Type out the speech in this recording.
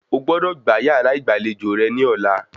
O gbọ́dọ̀ gbá yàrá ìgbàlejò rẹ ní ọ̀la